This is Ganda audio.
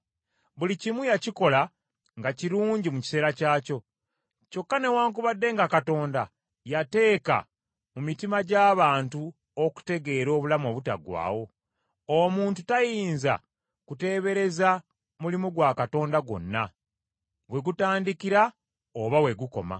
Buli kimu yakikola nga kirungi mu kiseera kyakyo. Kyokka newaakubadde nga Katonda yateeka mu mitima gy’abantu okutegeera obulamu obutaggwaawo, omuntu tayinza kuteebereza mulimu gwa Katonda gwonna, we gutandikira oba we gukoma.